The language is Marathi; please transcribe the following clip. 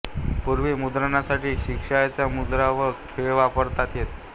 पूर्वी मुद्रणासाठी शिशाच्या मुद्रा वा खिळे वापरण्यात येत